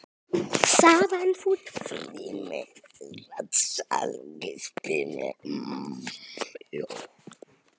sagði amma mædd.